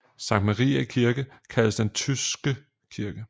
Sankt Mariæ kirke kaldtes den Tydske Kirke